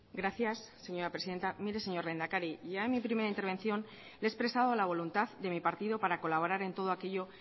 gracias señora presidenta mire señor lehendakari ya en mi primera intervención le he expresado la voluntad de mi partido para colaborar en todo aquello